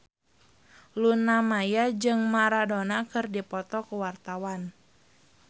Luna Maya jeung Maradona keur dipoto ku wartawan